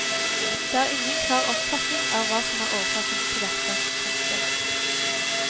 Det er ingen klar oppfatning av hva som er årsaken til dette. punktum